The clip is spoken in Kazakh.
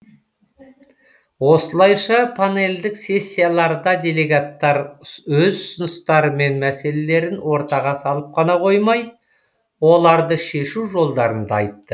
осылайша панельдік сессияларда делегаттар өз ұсыныстары мен мәселелерін ортаға салып қана қоймай оларды шешу жолдарын да айтты